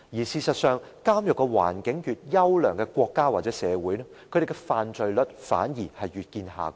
事實上，監獄環境越優良的國家或社會，它們的犯罪率反而越見下降。